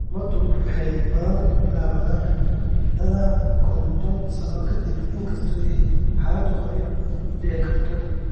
Calaamaduhu waxay badanaa bilaabaan da'da kontoon sano ka dib, inkastoo ay xaaladdu hore u dhici karto.